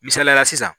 Misaliyala sisan